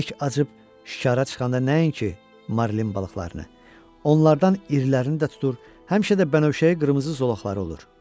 Bərk acıb şikara çıxanda nəinki Marlin balıqlarını, onlardan irilərini də tutur, həmişə də bənövşəyi qırmızı zolaqları olur.